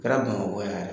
Kɛra bamakɔ yan yɛrɛ